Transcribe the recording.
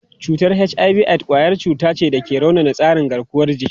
Cutar HIV/AIDS kwayar cuta wacce ke raunana tsarin garkuwar jiki.